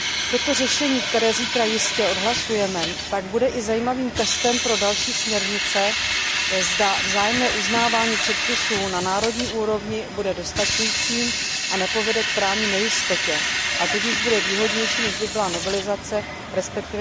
Toto řešení, které zítra jistě odhlasujeme, tak bude i zajímavým testem pro další směrnice, zda vzájemné uznávání předpisů na národní úrovni bude dostačující a nepovede k právní nejistotě, a tudíž bude výhodnější, než by byla novelizace, resp.